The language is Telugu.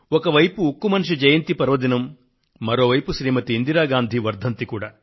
ఒకవైపు ఉక్కు మనిషి జయంతి పర్వదినం మరోవైపు శ్రీమతి ఇందిరాగాంధీ వర్ధంతి కూడా